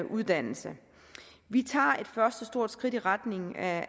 uddannelse vi tager et første stort skridt i retning af